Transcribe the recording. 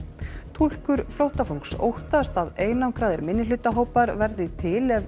túlkur flóttafólks óttast að einangraðir minnihlutahópar verði til ef